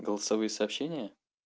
голосовые сообщения